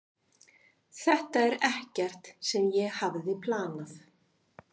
Þetta er ekkert sem ég hafði planað.